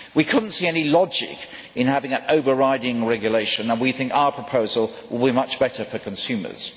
We could not see any logic in having an overriding regulation and we think our proposal would be much better for consumers.